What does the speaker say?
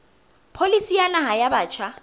pholisi ya naha ya batjha